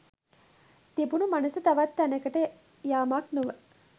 තිබුණු මනස තවත් තැනකට යාමක් නොව